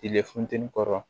Tile funteni kɔrɔ